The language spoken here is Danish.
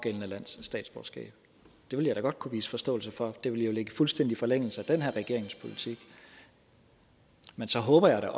det ville jeg da godt kunne vise forståelse for det ville jo ligge i fuldstændig forlængelse af den her regerings politik men så håber jeg